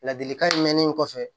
Ladilikan mɛnnen kɔfɛ